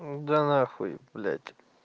да на хуй блять